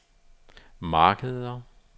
markeder